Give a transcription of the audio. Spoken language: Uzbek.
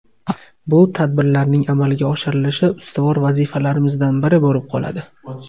Bu tadbirlarning amalga oshirilishi ustuvor vazifalarimizdan biri bo‘lib qoladi”.